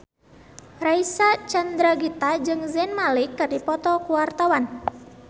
Reysa Chandragitta jeung Zayn Malik keur dipoto ku wartawan